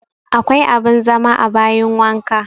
Akwa abin zama a bayin wanka